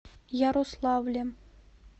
ярославлем